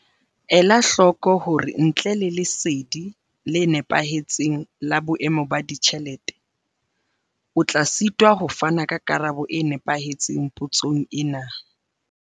Ela hloko hore ntle le lesedi le nepahetseng la boemo ba ditjhelete, o tla sitwa ho fana ka karabo e nepahetseng potsong ena.